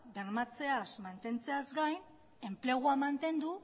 bermatzeaz mantentzeaz gain enplegua mantendu